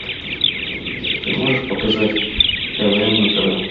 ты можешь показать тв на тв